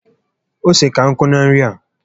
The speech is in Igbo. Ose ka nkụ na nri a